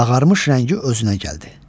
Ağarmış rəngi özünə gəldi.